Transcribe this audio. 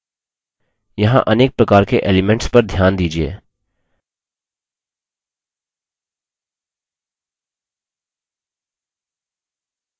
यहाँ अनेक प्रकार के elements पर ध्यान दीजिये